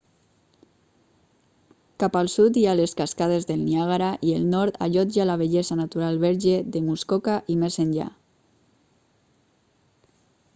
cap al sud hi ha les cascades del niàgara i el nord allotja la bellesa natural verge de muskoka i més enllà